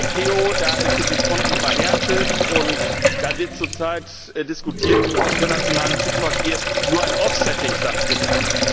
Bei der ICAO, da sind die Fronten verhärtet, und da wird zur Zeit diskutiert, ob im internationalen Flugverkehr nur ein offsetting stattfindet.